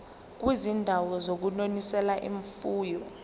kwizindawo zokunonisela imfuyo